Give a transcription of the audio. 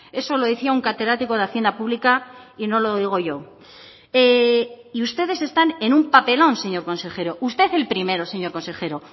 eso lo decía un catedrático de hacienda pública y no lo digo yo y ustedes están en un papelón señor consejero usted el primero señor consejero